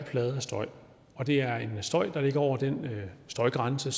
støj og det er en støj der ligger over den støjgrænse